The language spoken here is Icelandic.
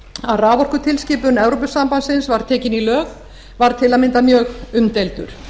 að raforkutilskipun evrópusambandsins var tekin í lög var til að mynda mjög umdeildur